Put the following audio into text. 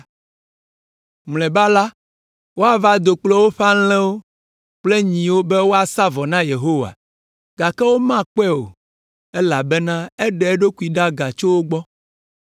Mlɔeba la, woava do kple woƒe alẽwo kple nyiwo be woasa vɔ na Yehowa, gake womakpɔe o, elabena eɖe eɖokui ɖa tso wo gbɔ.